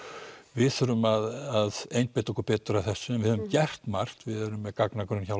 við þurfum að einbeita okkur betur að þessu við höfum gert margt við erum með gagnagrunn hjá